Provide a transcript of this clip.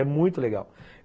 É muito legal.